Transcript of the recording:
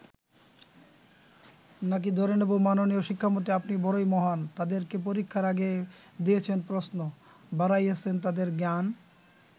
নাকি ধরে নেব ‘মাননীয় শিক্ষামন্ত্রী আপনি বড়ই মহান, তাদেরকে পরীক্ষার আগে দিয়েছেন প্রশ্ন, বাড়াইয়াছেন তাদের জ্ঞান’।